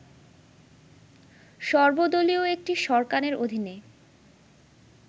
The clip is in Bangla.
সর্বদলীয় একটি সরকারের অধীনে